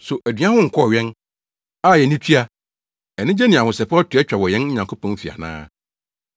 So aduan ho nkɔɔ wɛn, a yɛani tua, anigye ne ahosɛpɛw to atwa wɔ yɛn Nyankopɔn fi ana?